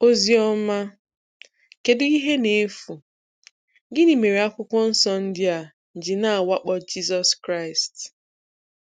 Ozioma. Kedu ihe na-efu? Gịnị mere Akwụkwọ Nsọ ndị a ji na-awakpo Jizọs Kraịst?